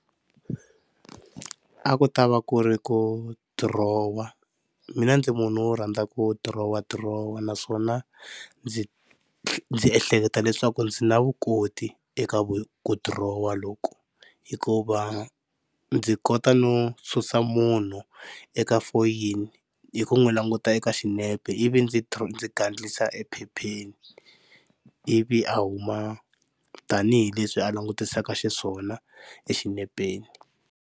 A ku ta va ku ri ku dirowa mina ndzi munhu wo rhandza ku dirowadirowa, naswona ndzi ndzi ehleketa leswaku ndzi na vukoti eka ku dirowa loku. Hikuva ndzi kota no susa munhu eka foyini hi ku n'wi languta eka xinepe ivi ndzi ndzi gandlisa ephepheni ivi a huma tanihileswi a langutisaka xiswona xinepeni.